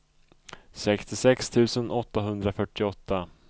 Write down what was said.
sextiosex tusen åttahundrafyrtioåtta